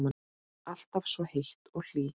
Alltaf svo heit og hlý.